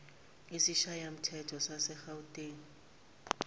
isishayamthetho sase gauteng